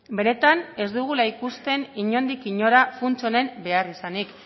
benetan ez dugula ikusten inondik inora funts honen beharrizanik